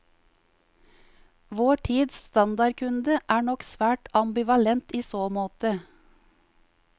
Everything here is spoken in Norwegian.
Vår tids standardkunde er nok svært ambivalent i så måte.